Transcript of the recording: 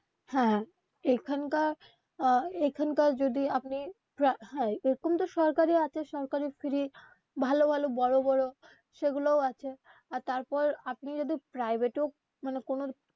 হ্যা এখানকার আহ এইখানকার যদি আপনি হ্যাঁ এইরকম তো সরকারি আছে সরকারি free ভালো ভালো বড়ো বড়ো সেগুলাও আছে আর তারপর আপনি যদি private এও মানে কোনো.